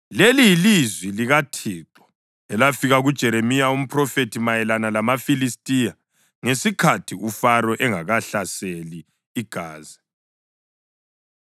Leli yilizwi likaThixo elafika kuJeremiya umphrofethi mayelana lamaFilistiya ngesikhathi uFaro engakahlaseli iGaza: